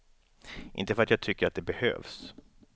Inte för att jag tycker det behövs.